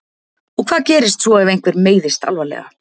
Og hvað gerist svo ef einhver meiðist alvarlega?